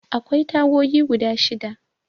Akwai tagogi guda shida.